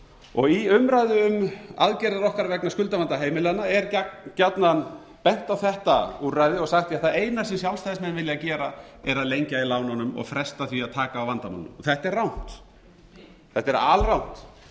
lánanna í umræðu um aðgerðir okkar vegna skuldavanda heimilanna er gjarnan bent á þetta úrræði og sagt ja það eina sem sjálfstæðismenn vilja gera er að lengja í lánunum og fresta því að taka á vandamálunum þetta er rangt þetta er alrangt